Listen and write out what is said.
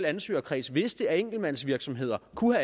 ansøgerkreds vidste at enkeltmandsvirksomheder kunne